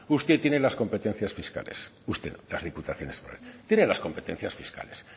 usted tiene las competencias fiscales usted las diputaciones forales mire las competencias fiscales